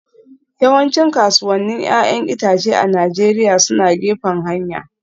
Yawancin kasuwannin 'ya'yan itace a Najeriya suna gefen hanya